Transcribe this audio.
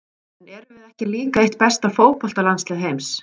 En erum við ekki líka eitt besta fótboltalandslið heims?